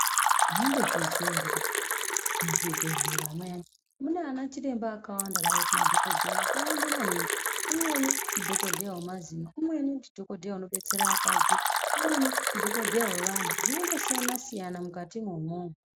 Maimbozviziya ere kuti muzvimbedhlera muyani munavana chiremba vakawanda kanakiti madhogodheya akawanda maningi. Umweni ndidhogodheya vemazino, umweni ndidhogodheya anobatsira akadzi, umweni ndidhogodheya vevana zvinongosiyana-siyana mukatimwo umwomwo.